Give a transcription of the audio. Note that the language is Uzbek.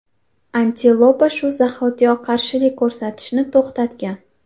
Antilopa shu zahotiyoq qarshilik ko‘rsatishni to‘xtatgan.